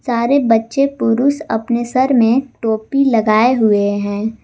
सारे बच्चे पुरूष अपने सर में टोपी लगाए हुए हैं।